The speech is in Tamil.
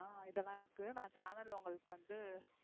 அஹ இதெல்லாம் இருக்கு நான் channel ல உங்களுக்கு வந்து,